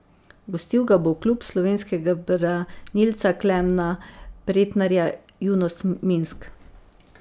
Gostil ga bo klub slovenskega branilca Klemna Pretnarja Junost Minsk.